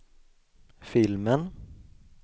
filmen